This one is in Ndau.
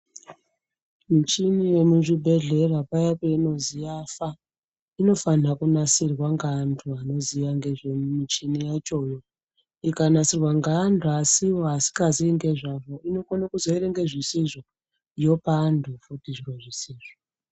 Michini yemuzvibhehleya paya peinozwi yafa inofana kunasirwa ngaantu anoziya ngezvemichini yachoyo ikanasirwa ngeanhu asiwo asingazii ngezvazvo inokone kuzoerenge zvisizvo yopaanhu futi zviro zvisizvo.